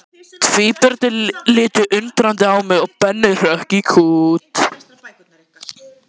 Tvíburarnir litu undrandi á mig og Benni hrökk í kút.